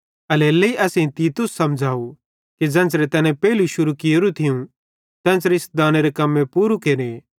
एल्हेरेलेइ असेईं तीतुस समझ़व कि ज़ेन्च़रे तैने पेइलू शुरू कियोरू थियूं तेन्च़रे इस दानेरे कम्मे पूरू भी केरे